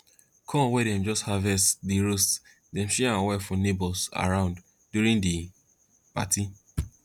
corn wey dem just harvest dey roast then share am well for neighbours around during the party